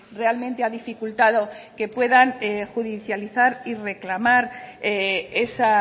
realmente ha dificultado que puedan judicializar y reclamar esa